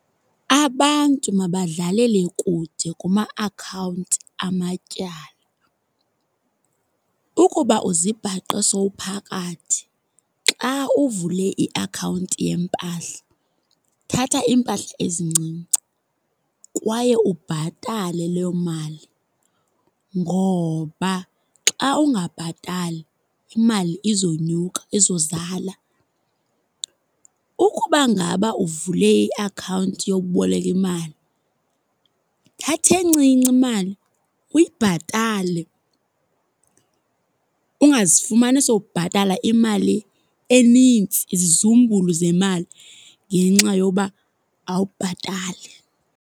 Abantu mabadlalele kude kuma-akhawunti, amatyala. Ukuba uzibhaqe sowuphakathi xa uvule i-akhawunti yempahla thatha iimpahla ezincinci kwaye ubhatale leyo mali, ngoba xa ungabhatali imali izonyuka, izozala. Ukuba ngaba uvule i-akhawunti yokuboleka imali, thatha encinci imali uyibhatale. Ungazifumani sowubhatala imali enintsi, izizumbulu zemali ngenxa yoba awubhatali.